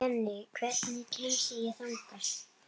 Jenni, hvernig kemst ég þangað?